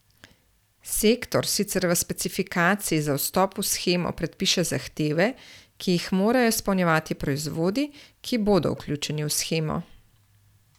Sektor sicer v specifikaciji za vstop v shemo predpiše zahteve, ki jih morajo izpolnjevati proizvodi, ki bodo vključeni v shemo.